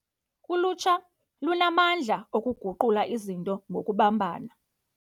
Ulutsha lunamandla okuguqula izinto ngokubambana.